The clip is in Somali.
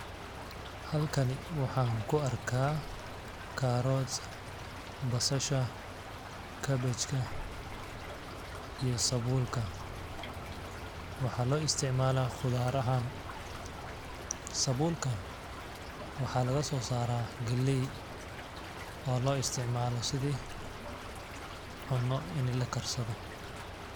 alkani waxaan ku arkaa carrot, basasha, cabbage ka , iyo sabuulka ,waxaa loo isticmalaa qudarahaan ;sabuulka waxaa lagasoo saraa galleey oo loo isticmaalo sidii cunno ini la karsado .